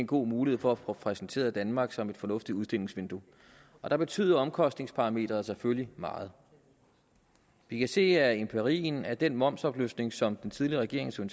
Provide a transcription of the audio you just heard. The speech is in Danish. god mulighed for at få præsenteret danmark som et fornuftigt udstillingsvindue der betyder omkostningsparameteret selvfølgelig meget vi kan se af empirien at den momsafløftning som den tidligere regering tog